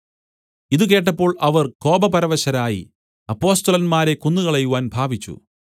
ഇതു കേട്ടപ്പോൾ അവർ കോപപരവശരായി അപ്പൊസ്തലന്മാരെ കൊന്നുകളയുവാൻ ഭാവിച്ചു